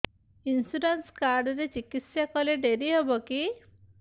insurance card ରେ ଚିକିତ୍ସା କଲେ ଡେରି ହବକି